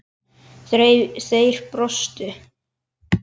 Þeir brostu.